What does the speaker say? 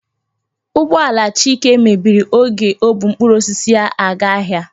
Ụgbọala Chika mebiri oge ọ bụ mkpụrụ osisi ya aga ahịa.